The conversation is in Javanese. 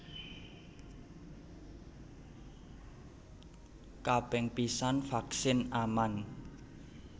Kaping pisan vaksin aman